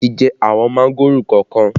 Ẹyẹ ti jẹ àwọn mángòrò kọ̀ọ̀kan